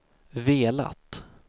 velat